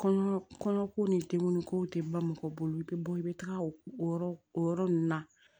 Kɔɲɔ kɔɲɔko ni denkundikow tɛ mɔgɔ bolo i bɛ bɔ i bɛ taga o yɔrɔ o yɔrɔ ninnu na